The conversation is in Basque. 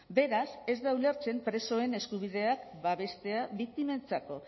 beraz ez da ulertzen presoen eskubideak babestea biktimentzako